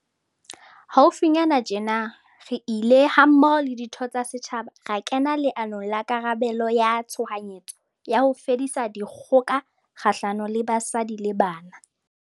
Haufinyane tjena, re ile, mmoho le ditho tsa setjhaba, ra kena leanong la karabelo ya tshohanyetso ya ho fedisa dikgoka kgahlano le basadi le bana.